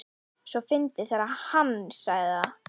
svo fyndið þegar HANN sagði það!